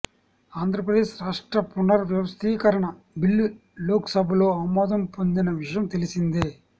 ఆంధ్ర ప్రదేశ్ రాష్ట్ర పునర్ వ్యవస్థికరణ బిల్లు లోక్ సభలో ఆమోదం పొందిన విషయం తెలిసిందే